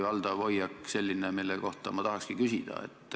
Valdav hoiak oli selline, mille kohta ma tahakski küsida.